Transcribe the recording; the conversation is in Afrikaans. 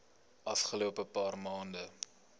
afgelope paar maande